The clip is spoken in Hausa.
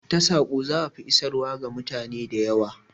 Ta saƙo za'a fi isarwa ga mutane da yawa